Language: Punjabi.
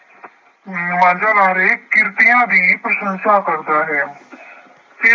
ਮਾਂਝਾ ਲਾ ਰਹੇ ਕਿਰਤੀਆਂ ਦੀ ਪ੍ਰਸ਼ੰਸਾ ਕਰਦਾ ਹੈ ਤੇ